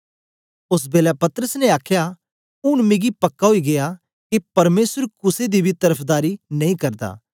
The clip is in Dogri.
ओस बेलै पतरस ने आखया ऊन मिकी पक्का ओई गीया के परमेसर कुसे दी बी तरफदारी नेई करदा